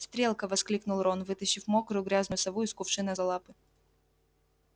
стрелка воскликнул рон вытащив мокрую грязную сову из кувшина за лапы